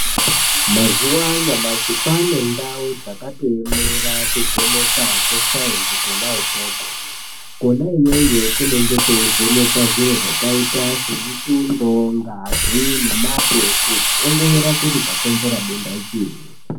Mazuwa anyamashi kwane ndau dzakatoemera kuvheneka kwesainzi kona ukoko, kona iyoyo kunenge kweivhenekwe zviro zvakaita semutundo, ngazi nemate kuongorore kuti chakonzere denda chiinyi.